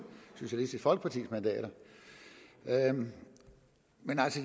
socialistisk folkepartis mandater men